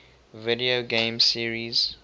video game series